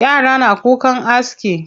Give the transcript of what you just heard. Yara na kukan aski.